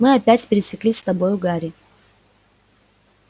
мы опять пересеклись с тобою гарри